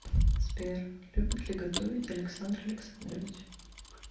сбер любит ли готовить александр александрович